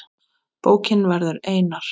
Bókin verður einar